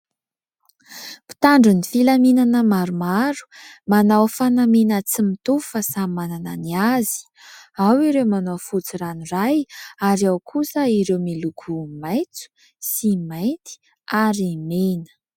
Mpitandro ny filaminana maromaro manao fanamiana tsy mitovy fa samy manana ny azy. Ao ireo manao fotsy ranoray, ary ao kosa ireo miloko maitso sy mainty ary mena.